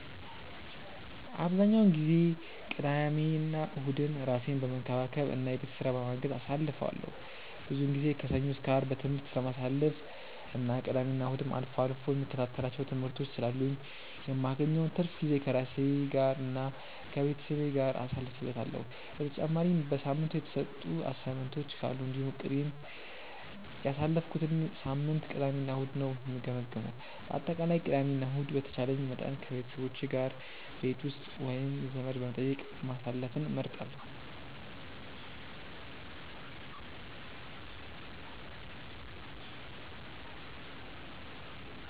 አብዛኛውን ጊዜ ቅዳሜና እሁድን ራሴን በመንከባከብ እና የቤት ስራ በማገዝ አሳልፈዋለሁ። ብዙውን ጊዜ ከሰኞ እስከ አርብ በትምህርት ስለማሳልፍ እና ቅዳሜና እሁድም አልፎ አልፎ የምከታተላቸው ትምህርቶች ስላሉኝ የማገኘውን ትርፍ ጊዜ ከራሴ ጋር እና ከቤተሰቤ ጋር ጊዜ አሳልፍበታለሁ። በተጨማሪም በሳምንቱ የተሰጡ አሳይመንቶች ካሉ እንዲሁም እቅዴን እና ያሳለፍኩትን ሳምንት ቅዳሜ እና እሁድ ነው የምገመግመው። በአጠቃላይ ቅዳሜ እና ከእሁድ በተቻለኝ መጠን ከቤተሰቦቼ ጋር ቤት ውስጥ ወይም ዘመድ በመጠየቅ ማሳለፍን እመርጣለሁ።